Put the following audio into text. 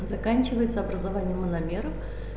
заканчивается образованием мономера